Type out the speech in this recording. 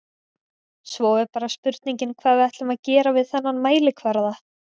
Svo er bara spurningin hvað ætlum við að gera við þennan mælikvarða?